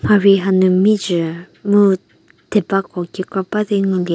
mharhi hanu mizhü mu theba ko kekra ba di ngu lie.